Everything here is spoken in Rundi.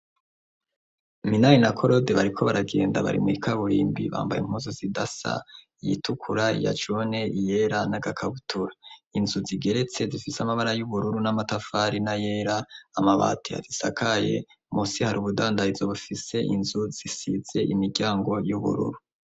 Minani na korode bariko baragenda barimikaburimbi bambaye impozo zidasa iyitukura ya jone iyera n'agakabutura inzu zigeretse zifise amabara y'ubururu n'amatafari na yera amabati adisakaye musi har ubudanda izo bufise inzu zisitse imiryango y'ubururu.